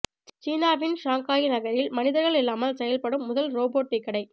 சீனாவின் ஷாங்காய் நகரில் மனிதர்கள் இல்லாமல் செயல்படும் முதல் ரோபோட் டீ கடை